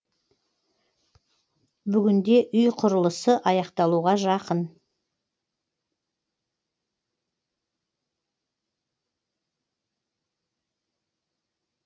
бүгінде үй құрылысы аяқталуға жақын